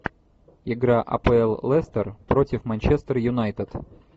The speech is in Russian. игра апл лестер против манчестер юнайтед